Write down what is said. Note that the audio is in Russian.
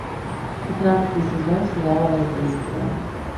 пятнадцатый сезон сериала воздействие